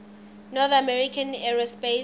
north american aerospace